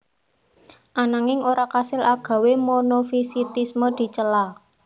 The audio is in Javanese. Ananging ora kasil agawé monofisitisme dicela